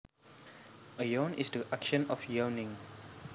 A yawn is the action of yawning